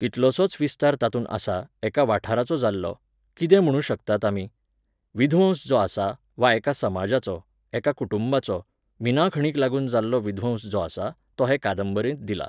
कितलोसोच विस्तार तातूंत आसा, एका वाठाराचो जाल्लो, कितें म्हणूं शकतात आमी? विध्वंस जो आसा, वा एका समजाचो, एका कुंटुबाचो, मिनाखणींक लागून जाल्लो विध्वंस जो आसा, तो हे कांदबरेंत दिला.